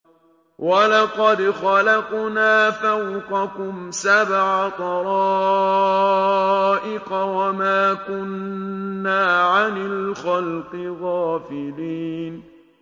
وَلَقَدْ خَلَقْنَا فَوْقَكُمْ سَبْعَ طَرَائِقَ وَمَا كُنَّا عَنِ الْخَلْقِ غَافِلِينَ